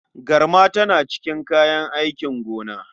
Garma tana cikin kayan aikin gona.